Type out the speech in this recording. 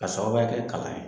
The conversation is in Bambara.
K'a sababuya kɛ kalan ye.